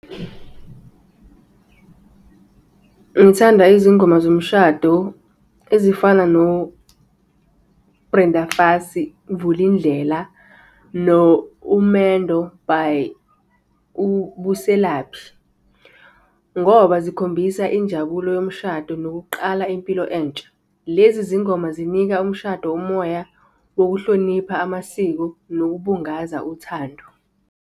Ngithanda izingoma zomshado ezifana no-Brenda Fassie, Vulindlela, no-Umendo by uBuselaphi, ngoba zikhombisa injabulo yomshado nokuqala impilo entsha. Lezi zingoma zinika umshado umoya wokuhlonipha amasiko nokubungaza uthando.